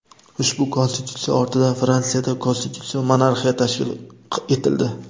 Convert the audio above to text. Ushbu konstitutsiya ortidan Fransiyada konstitutsion monarxiya tashkil etildi.